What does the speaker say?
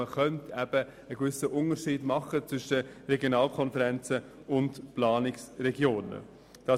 Man könnte eine gewisse Unterscheidung zwischen Regionalkonferenzen und Planungsregionen erreichen.